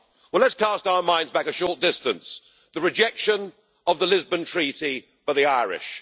Well, let's cast our minds back a short distance the rejection of the Lisbon Treaty by the Irish.